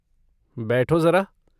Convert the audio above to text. बैठो ज़रा।